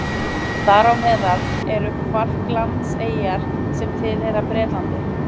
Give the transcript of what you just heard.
Þar á meðal eru Falklandseyjar sem tilheyra Bretlandi.